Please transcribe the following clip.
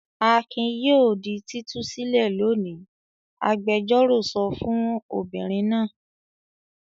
"Akin yóò di títú sílẹ̀ lónìí!" Agbẹjọ́rò sọ fún obìnrin náà.